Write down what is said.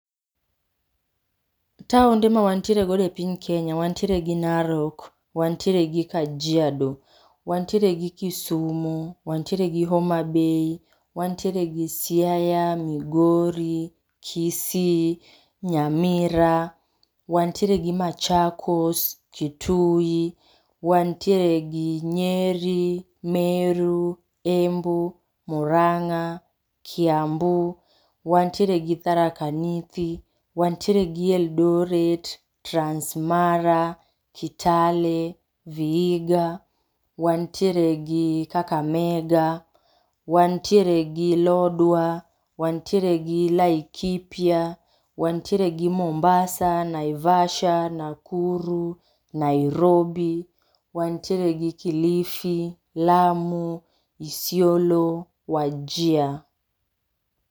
[puase] taonde ma wantiere godo e piny Kenya, wantiere gi Narok, wantiere gi Kajiado, wantiere gi Kisumu, wantiere gi Homabay, wantiere gi Siaya, Migori, Kisii, Nyamira, wantiere gi Machakos, Kitui, wantiere gi Nyeri, Meru Embu, Murang'a, Kiambu, wantiere gi Tharaka Nithi. wantiere gi Eldoret, Trans Mara, Kitale vihiga. Wantiere gi Kakamega, wantiere gi Lodwar, wantiere gi Laikipia, wantiere gi Mombasa, Naivasha , Nakuru, Nairobi, wantiere gi kilifi, lamu, Isiolo , Wajir